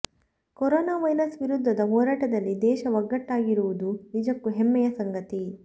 corona virus ವಿರುದ್ಧದ ಹೋರಾಟದಲ್ಲಿ ದೇಶ ಒಗ್ಗಟ್ಟಾಗಿರುವುದು ನಿಜ್ಜಕೂ ಹೆಮ್ಮೆಯ ಸಂಗತಿ